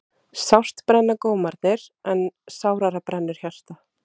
Sárt brenna gómarnir en sárara brennur hjartað.